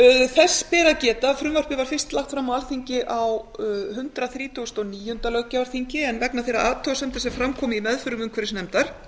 þess ber að gera að frumvarpið var fyrst lagt fram á alþingi á hundrað þrítugasta og níunda löggjafarþingi en vegna þeirra athugasemda sem fram komu í meðförum umhverfisnefndar